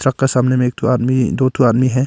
का सामने में एक ठो आदमी दो ठो आदमी है।